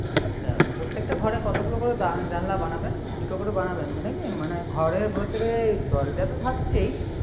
আচ্ছা প্রত্যেকটা ঘরে কতগুলো করে জানলা বানাবেন? দুটো করে বানাবেন তো নাকি? ঘরের ভিতরে দরজা তো থাকছেই।